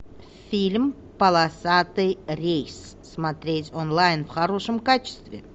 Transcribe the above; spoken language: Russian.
фильм полосатый рейс смотреть онлайн в хорошем качестве